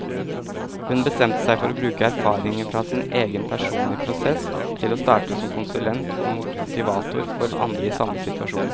Hun bestemte seg for å bruke erfaringene fra sin egen personlige prosess til å starte som konsulent og motivator for andre i samme situasjon.